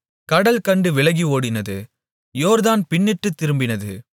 கடல் கண்டு விலகி ஓடினது யோர்தான் பின்னிட்டுத் திரும்பினது